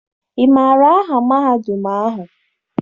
Ị maara aha mahadum ahụ?